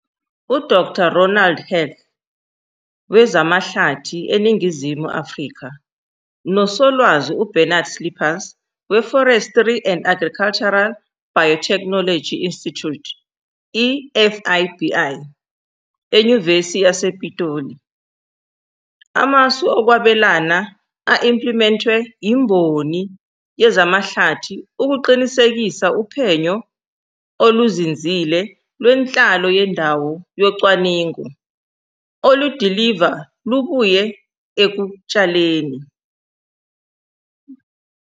U-Dr Ronald Heath, wezamaHlathi eNingizimu Afrika, noSolwazi Bernard Slippers, we-Forestry and Agricultural Biotechnology Institute, i-FABI, eNyuvesi yasePitoli, amasu okwabelana a-implimentwe imboni yezamahlathi ukuqinisekisa uphenyo oluzinzile lwenhlalo yendawo yocwaningo oludiliva lubuye ekutshaleni.